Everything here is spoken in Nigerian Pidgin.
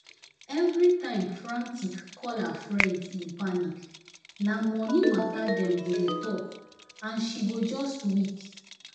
every time frantic call her friends in panic na money matter dem go dey talk and she go just weak.